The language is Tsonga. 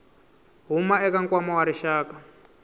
huma eka nkwama wa rixaka